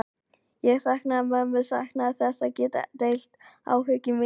Ég saknaði mömmu, saknaði þess að geta ekki deilt áhyggjum mínum með henni.